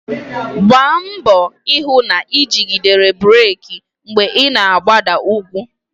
Gbaa mbọ hụ na ijidere breeki mgbe ị na-agbada ugwu